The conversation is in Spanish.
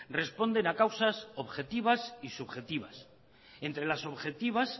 responden a causas objetivas y subjetivas entre las objetivas